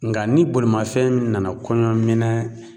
Nka ni bolimafɛn nana kɔɲɔminɛn